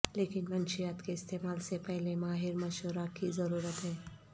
لیکن منشیات کے استعمال سے پہلے ماہر مشورہ کی ضرورت ہے